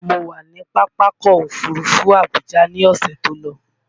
Mo wà ní Pápákọ̀ Òfurufú Abuja ní ọ̀sẹ̀ tó lọ